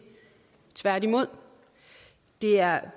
tværtimod det er